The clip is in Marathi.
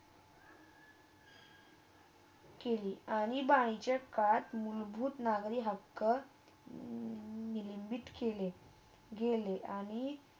केली आणि बाई जगात मुलभुत नगरी हक्क मिळवीत केली गेली आणि